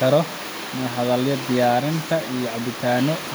karo marka laga hadlayo diyaarinta cabitaanno